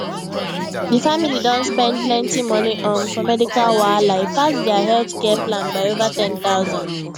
di family don spend plenty money um for medical wahala e pass dia healthcare plan by over 10000